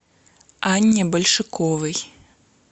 анне большаковой